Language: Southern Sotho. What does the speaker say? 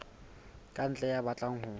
ka ntle ya batlang ho